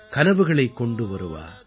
கனவுகளைக் கொண்டு வருவா